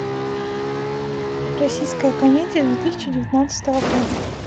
российская комедия две тысячи девятнадцатого года